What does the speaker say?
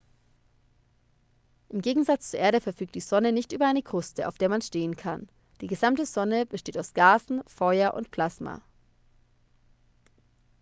im gegensatz zur erde verfügt die sonne nicht über eine kruste auf der man stehen kann die gesamte sonne besteht aus gasen feuer und plasma